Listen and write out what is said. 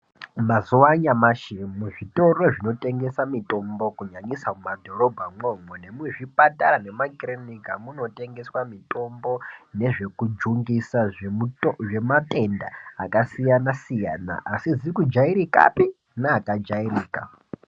Mazuva anyamashi muzvitoro zvinotengesa mitombo kunyanyisa mumadhorobha imwomwo nemuzvipatara nekumakiriniki munotengeswa mitombo nezvekujungisa zvematenda akasiyana siyana asizi kujairikapi neakajairika.